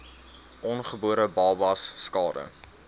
ongebore babas skade